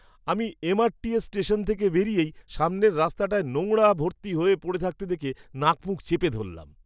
আমি M. R. T. S station থেকে বেরিয়েই সামনে রাস্তাটায় নোংরা ভর্তি হয়ে পড়ে থাকতে দেখে নাকমুখ চেপে ধরলাম।